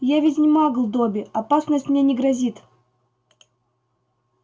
я ведь не магл добби опасность мне не грозит